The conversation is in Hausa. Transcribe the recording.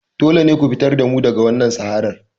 Dole ne ku fitar da mu daga wannan saharar!